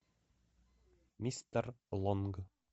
мистер лонг